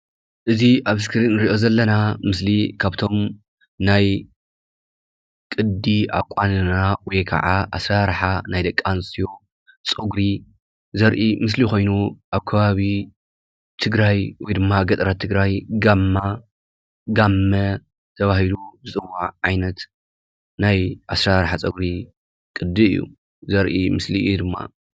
እዚ ኣብ ስክሪን ንሪኦ ዘለና ምስሊ ካብቶም ናይ ቅዲ ኣቋንና ወይ ከዓ ኣሰራርሓ ናይ ደቂ ኣንስትዮ ፀጒሪ ዘርኢ ምስሊ ኮይኑ ኣብ ከባቢ ትግራይ ወይ ድማ ገጠራት ትግራይ ጋማ ጋመ ተባሂሉ ዝፅዋዕ ዓይነት ናይ ኣሰራርሓ ፀጒሪ ቅዲ እዩ ዘርኢ ምስሊ እዩ ድማ፡፡